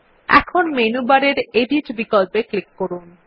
এখন মেনুবারের edit click করুন